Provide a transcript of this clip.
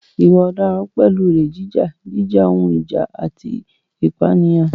Ìwà ọ̀daràn pẹ̀lú olè jíjà, jíjà ohun ìjà, àti ìpànìyàn.